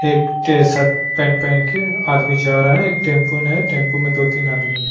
एक टी-शर्ट पन-पहन के आदमी जा रहा है एक टैंपो ने टैंपो में दो तीन आदमी है।